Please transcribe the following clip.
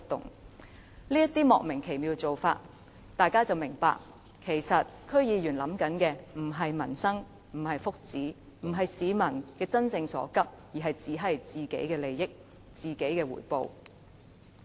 看到這種莫名其妙的做法，大家便會明白區議員所想的其實不是民生、不是福祉，也不是急市民真正所急，而只是想到自己的利益和回報。